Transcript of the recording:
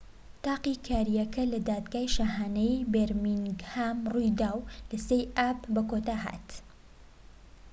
تاقیکاریەکە لە دادگای شاهانەیی بێرمینگهام ڕوویدا و لە 3ی ئاب بەکۆتا هات